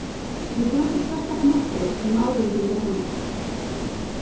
Ég bjó til sérstaka möppu um ábendingar hennar.